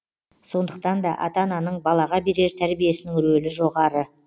сондықтан да ата ананың балаға берер тәрбиесінің рөлі жоғары